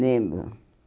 Lembro.